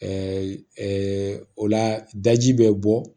o la daji bɛ bɔ